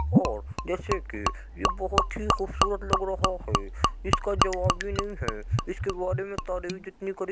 और जैसे कि ये बोहोत ही खूबसूरत लग रहा है। इसका जवाब भी नहीं है। इसके बारे में तारीफ जितनी करी --